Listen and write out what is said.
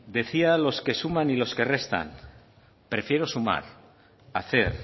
decían los que suman y los que restan prefiero sumar hacer